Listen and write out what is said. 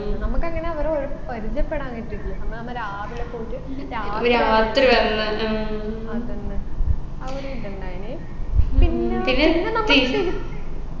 നമ്മുക്കങ്ങനെ അവരെ ഒരു പരിചയപ്പെടാൻ കിട്ടിയിട്ടില്ല അന്ന് നമ്മ രാവിലെ പോയിട്ട് രാത്രി വന്നു അതെന്നെ ആ ഒരു ഇതുണ്ടായിന് പിന്നെ പിന്നെ നമ്മ തിരിച്ച്